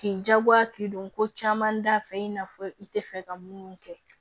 K'i jagoya k'i don ko caman da fɛ i n'a fɔ i tɛ fɛ ka minnu kɛ